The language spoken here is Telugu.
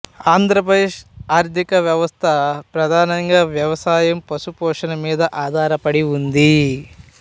ఆంధ్రప్రదేశ్ ఆర్థిక వ్యవస్థ ప్రధానంగా వ్యవసాయం పశు పోషణ మీద ఆధారపడి ఉంది